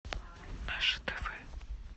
наше тв